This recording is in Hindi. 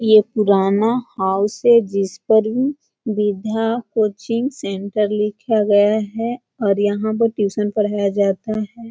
ये पुराना हॉल है जिसपर विद्या कोचिंग सेंटर लिखा गया है और यहाँ पर ट्यूशन पढाया जाता है।